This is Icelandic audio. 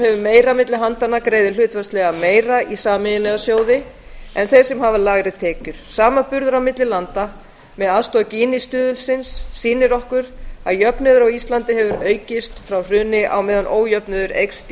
hefur meira milli handanna greiðir hlutfallslega meira í sameiginlega sjóði en þeir sem hafa lægri tekjur samanburður á milli landa með aðstoð gini stuðulsins sýnir okkur að jöfnuður á íslandi hefur aukist frá hruni á meðan ójöfnuður eykst í